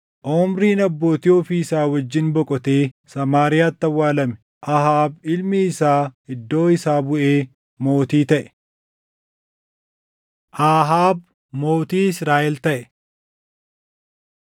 Omriin abbootii ofii isaa wajjin boqotee Samaariyaatti awwaalame. Ahaab ilmi isaa iddoo isaa buʼee mootii taʼe. Ahaab Mootii Israaʼel Taʼe